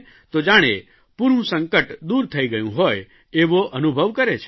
તો જાણે પૂરૂં સંકટ દુર થઇ ગયું હોય એવો અનુભવ કરે છે